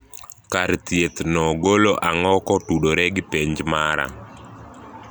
kar thiethno golo ang'o kotudore gi penj mara